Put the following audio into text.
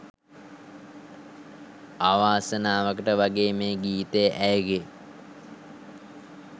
අවාසනාවකට වගේ මේ ගීතය ඇයගෙ